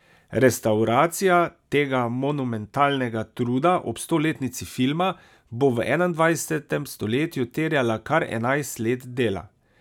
Restavracija tega monumentalnega truda ob stoletnici filma bo v enaindvajsetem stoletju terjala kar enajst let dela.